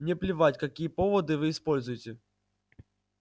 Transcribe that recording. мне плевать какие поводы вы используете